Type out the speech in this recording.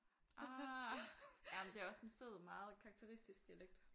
Ah ej men det også en fed meget karakteristisk dialekt